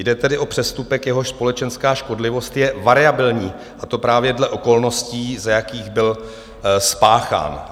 Jde tedy o přestupek, jehož společenská škodlivost je variabilní, a to právě dle okolností, za jakých byl spáchán.